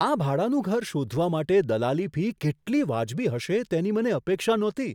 આ ભાડાનું ઘર શોધવા માટે દલાલી ફી કેટલી વાજબી હશે, તેની મને અપેક્ષા નહોતી!